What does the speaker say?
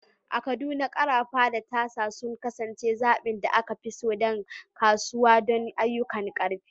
A Kaduna, ƙarafa da tasa sun kasance zaɓin da aka fi so daga kasuwa don ayyukan rufin.